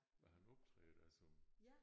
Men han optræder da som